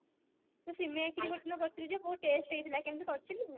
ସେ ସିମେୟା ଖିରୀ କରିଥିଲୁ plus three ରେ ବହୁତ taste ହେଇଥିଲା କେମତି କରିଥିଲୁ